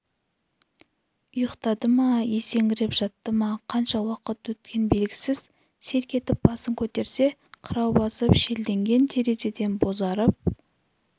ұйықтады ма есеңгіреп жатты ма қанша уақыт өткен белгісіз селк етіп басын көтерсе қырау басып шелденген терезеден бозарып